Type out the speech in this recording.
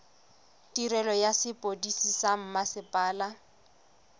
tirelo ya sepodisi sa mmasepala